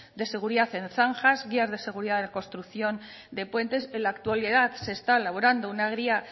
de seguridad en zanjas guías de seguridad en la construcción de puentes en la actualidad se está elaborando una guía